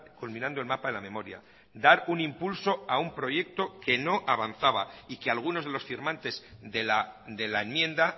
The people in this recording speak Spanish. culminando el mapa de la memoria dar un impulso a un proyecto que no avanzaba y que algunos de los firmantes de la enmienda